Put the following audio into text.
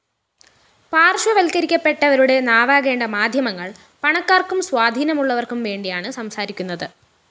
പാര്‍ശ്വവല്‍ക്കരിക്കപ്പെട്ടവരുടെ നാവാകേണ്ട മാധ്യമങ്ങള്‍ പണക്കാര്‍ക്കും സ്വാധീനമുള്ളവര്‍ക്കും വേണ്ടിയാണ് സംസാരിക്കുന്നത്